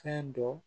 Fɛn dɔ